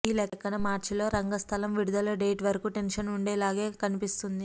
ఈ లెక్కన మార్చిలో రంగస్థలం విడుదల డేట్ వరకు టెన్షన్ వుండేలాగే కనిపిస్తోంది